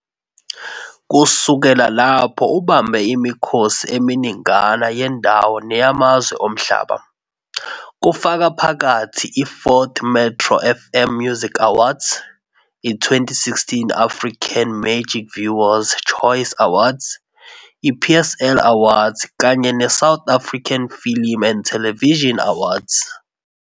Kusukela lapho ubambe imikhosi eminingana yendawo neyamazwe omhlaba, kufaka phakathi i-14th Metro FM Music Awards, i-2016 I-Africa Magic Viewers Choice Awards, i-PSL Awards kanye ne-South African Film and Television Awards.